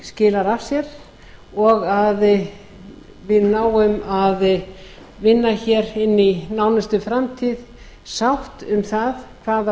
skilar af sér og að við náum að vinna inni í nánustu framtíð sátt um það hvaða